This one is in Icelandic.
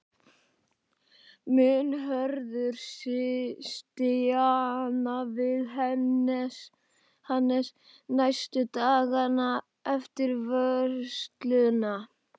Mun Hörður stjana við Hannes næstu dagana eftir vörsluna?